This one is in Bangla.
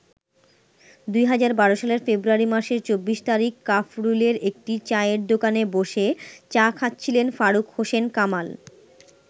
২০১২ সালের ফেব্রুয়ারি মাসের ২৪ তারিখ কাফরুলের একটি চায়ের দোকানে বসে চা খাচ্ছিলেন ফারুক হোসেন কামাল।